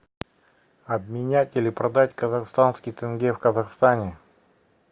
обменять или продать казахстанский тенге в казахстане